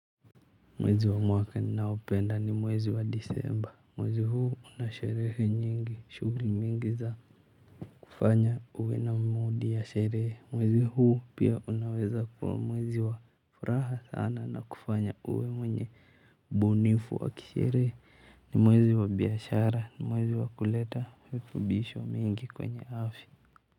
Mwezi wa mwaka ninaoupenda ni mwezi wa Disemba. Mwezi huu una sherehe nyingi, shughuli mingi za kufanya uwe na 'mood' ya sherehe. Mwezi huu pia unaweza kuwa mwezi wa furaha sana na kufanya uwe mwenye bunifu wa kisherehe, ni mwezi wa biashara, ni mwezi wa kuleta virutubisho mingi kwenye afya.